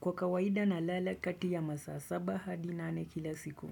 Kwa kawaida na lala kati ya masaa saba hadi nane kila siku.